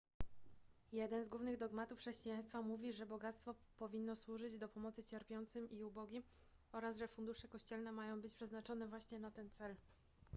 jeden z głównych dogmatów chrześcijaństwa mówi że bogactwo powinno służyć do pomocy cierpiącym i ubogim oraz że fundusze kościelne mają być przeznaczone właśnie na ten cel